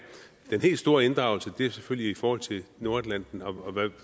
den helt store inddragelse er selvfølgelig i forhold til nordatlanten og